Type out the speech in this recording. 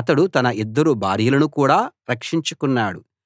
అతడు తన ఇద్దరు భార్యలను కూడా రక్షించుకున్నాడు